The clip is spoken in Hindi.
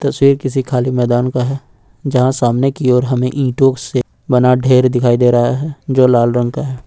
किसी खाली मैदान का है जहां सामने की ओर हमें ईंटों से बना ढेर दिखाई दे रहा है जो लाल रंग का है।